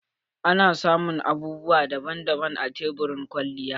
Ana samun abubuwa daban daban a tebur na kwalliya.